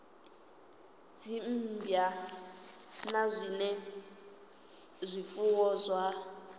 dzimmbwa na zwinwe zwifuwo zwa